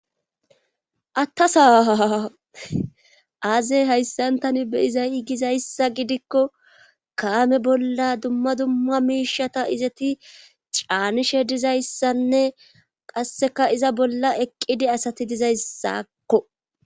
Attasaaa aazey hayssantani beyizay gizayssa gidikko kaame bolla dumma dumma miishata izeti caanishe dizayssanne qasseka iza bolla eqqidi asati dizayssakko,